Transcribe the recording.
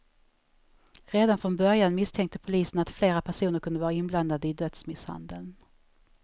Redan från början misstänkte polisen att flera personer kunde vara inblandade i dödsmisshandeln.